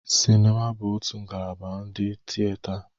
Sinima bụ otu ngalaba di na tiyeta.